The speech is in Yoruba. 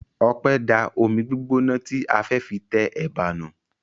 Ọpẹ́ da omi gbígbóná tí a fẹ́ fi tẹ ẹ̀bà nù.